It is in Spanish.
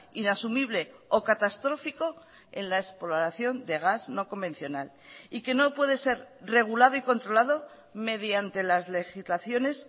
inasumible o catastrófico en la exploración de gas no convencional y que no puede ser regulado y controlado mediante las legislaciones